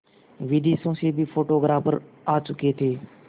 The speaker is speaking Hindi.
विदेशों से भी फोटोग्राफर आ चुके थे